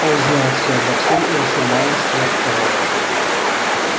он знает все обо всем и ещё малость сверх того